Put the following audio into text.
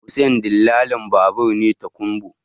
Hussein dillalin babur ne tokunbo